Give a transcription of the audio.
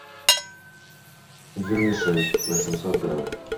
вермишель восемьсот грамм